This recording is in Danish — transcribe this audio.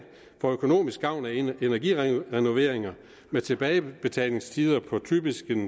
får økonomisk gavn af energirenoveringer med tilbagebetalingstider på typisk